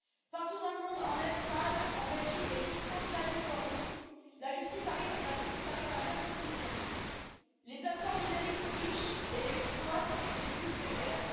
Partout dans le monde, en Espagne, en Belgique et jusqu'en Californie, la justice arrive à la même conclusion les plateformes numériques trichent et exploitent les plus précaires.